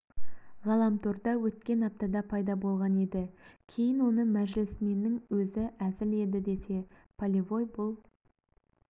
ғаламторда өткен аптада пайда болған еді кейін оны мәжілісменнің өзі әзіл еді десе полевой бұл